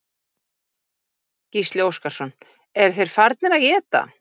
Gísli Óskarsson: Eru þeir farnir að éta?